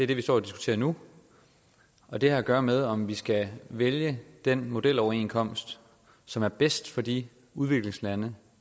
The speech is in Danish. diskuterer nu og det har at gøre med om vi skal vælge den modeloverenskomst som er bedst for de udviklingslande